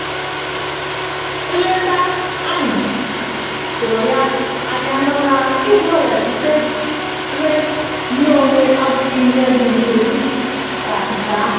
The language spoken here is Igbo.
nleta ahụ tụrụ ya anyamana ịgwọ ọria sitere nye onwe abụghì ihe ndi mfe dika nke ahụ